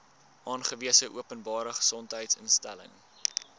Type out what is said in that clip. aangewese openbare gesondheidsinstelling